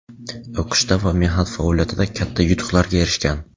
o‘qishda va mehnat faoliyatida katta yutuqlarga erishgan.